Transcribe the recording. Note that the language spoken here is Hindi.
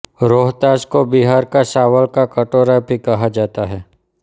रोहतास को बिहार का चावल का कटोरा भी कहा जाता है